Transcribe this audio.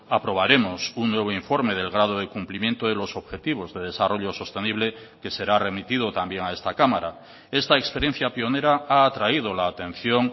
aprobaremos un nuevo informe del grado de cumplimiento de los objetivos de desarrollo sostenible que será remitido también a esta cámara esta experiencia pionera ha atraído la atención